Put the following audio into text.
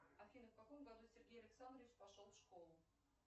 афина в каком году сергей александрович пошел в школу